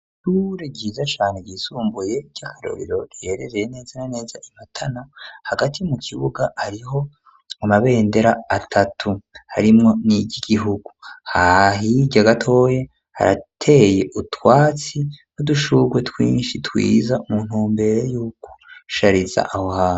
Ishuri ryiza cane ryisumbuye ry'akarorero riherereye neza na neza Imatana hagati mu kibuga hariho amabendera atatu harimwo niryi gigihugu hirya gatoya harateye utwatsi n'udushurwe twishi twiza mu ntumbero yuko gushariza aho hantu.